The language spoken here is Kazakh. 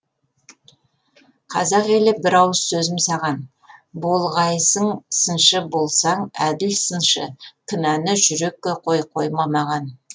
қазақ елі бір ауыз сөзім саған болғайсың сыншы болсаң әділ сыншы кінәні жүрекке қой қойма маған